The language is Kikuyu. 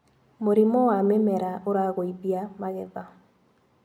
Mũrimũ wa mĩmera ũragũithia magetha.